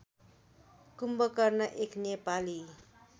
कुम्भकर्ण एक नेपाली